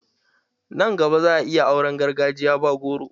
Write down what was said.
Nan gaba za'a yi auran gargajiya ba goro.